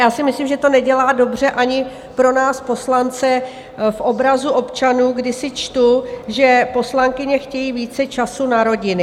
Já si myslím, že to nedělá dobře ani pro nás poslance v obrazu občanů, kdy si čtu, že poslankyně chtějí více času na rodiny.